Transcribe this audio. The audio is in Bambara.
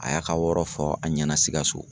A y'a ka yɔrɔ fɔ a ɲɛna sikaso.